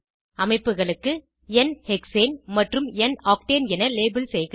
அமைப்புகளுக்கு n hexane மற்றும் n octane என லேபல் செய்க